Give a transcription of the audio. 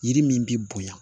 Yiri min bɛ bonya